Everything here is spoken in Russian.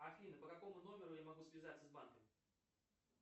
афина по какому номеру я могу связаться с банками